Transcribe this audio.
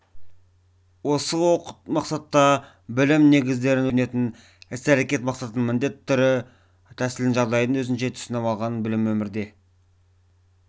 осы мақсатта білім негіздерін өз еркімен үйренетін іс-әрекет мақсатын міндетін түрін тәсілін жағдайын өзінше түсініп алған білімін өмірде